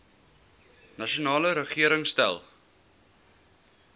nasionale regering stel